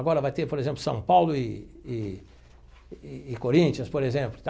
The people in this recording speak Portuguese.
Agora vai ter, por exemplo, São Paulo e e e Corinthians, por exemplo.